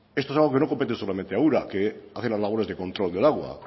esto es algo que no compete solamente a ura que hace las labores de control del agua